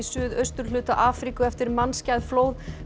suðausturhluta Afríku eftir mannskæð flóð